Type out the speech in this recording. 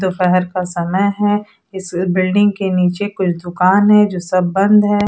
दुपहर का समय है इस बिल्डिंग के निचे कोई दुकान है जो सब बंद है।